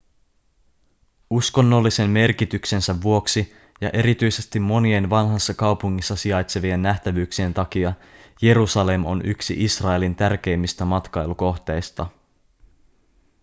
uskonnollisen merkityksensä vuoksi ja erityisesti monien vanhassa kaupungissa sijaitsevien nähtävyyksien takia jerusalem on yksi israelin tärkeimmistä matkailukohteista